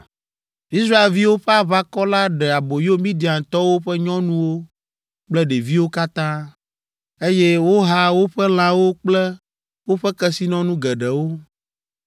Israelviwo ƒe aʋakɔ la ɖe aboyo Midiantɔwo ƒe nyɔnuwo kple ɖeviwo katã, eye woha woƒe lãwo kple woƒe kesinɔnu geɖewo.